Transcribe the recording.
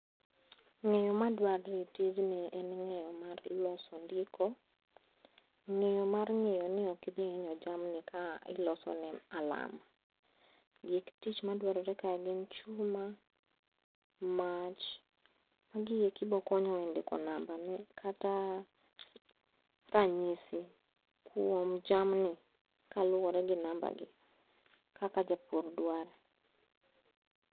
Ng'eyo madwarre e tijni en ng'eyo mar loso ndiko. Ng'eyo mar ng'eyo ni okidhi inyo jamni ka ilosone alarm. Gik tich madwarore kae gin chuma, mach, magieki bokonyo e ndiko nambane kata ranyisi kuom jamni kaluwore gi nambagi kaka japur dwaro.